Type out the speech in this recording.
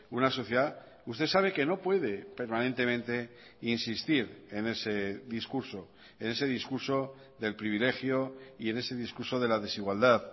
una sociedad usted sabe que no puede permanentemente insistir en ese discurso en ese discurso del privilegio y en ese discurso de la desigualdad